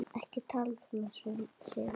Ekki tala svona, Sif mín!